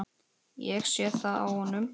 Ég sé það á honum.